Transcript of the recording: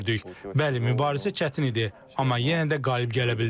Bəli, mübarizə çətin idi, amma yenə də qalib gələ bildim.